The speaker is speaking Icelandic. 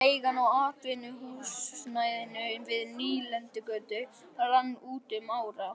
Leigan á atvinnuhúsnæðinu við Nýlendugötu rann út um ára